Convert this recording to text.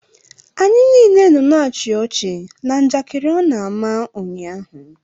Anyị niile nọ na-achi ọchi na njakịrị ọ na-ama ụnyaahụ.